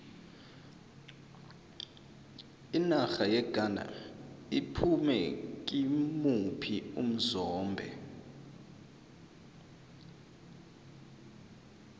inarha yeghana iphume kimuphi umzombe